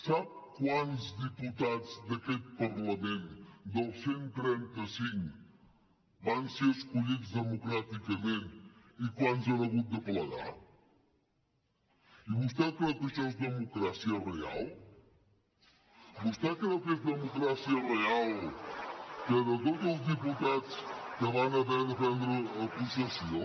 sap quants diputats d’aquest parlament dels cent i trenta cinc van ser escollits democràticament i quants han hagut de plegar i vostè creu que això és democràcia real vostè creu que és democràcia real que de tots els diputats que van haver de prendre possessió